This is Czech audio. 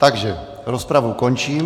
Takže rozpravu končím.